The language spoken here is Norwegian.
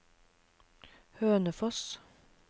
Hønefoss